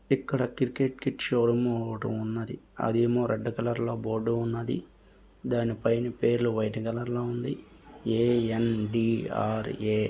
ఇక్కడ cricket kit showroom ఒకటి ఉన్నది. అదేమో రెడ్ కలర్ లో బోర్డు ఉన్నది. దాని పైన పేర్లు వైట్ కలర్ లో ఉంది. A _N _D _R _a--